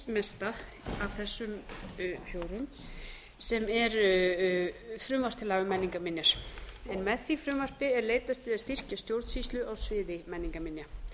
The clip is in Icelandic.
af þessum fjórum sem er frumvarp til laga um menningarminjar með því frumvarpi er leitast við að styrkja stjórnsýslu á sviði menningarminja